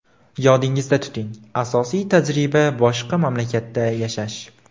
Yodingizda tuting, asosiy tajriba boshqa mamlakatda yashash!